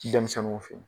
Denmisɛnninw fe yen